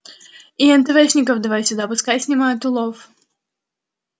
и энтэвэшников давай сюда пускай снимают улов